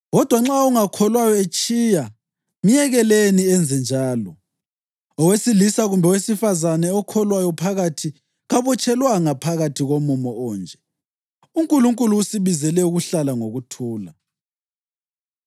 Kodwa nxa ongakholwayo etshiya, myekeleni enze njalo. Owesilisa kumbe owesifazane okholwayo phakathi kabotshelwanga phakathi komumo onje; uNkulunkulu usibizele ukuhlala ngokuthula.